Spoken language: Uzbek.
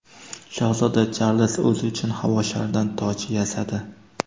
Shahzoda Charlz o‘zi uchun havo sharidan toj yasadi.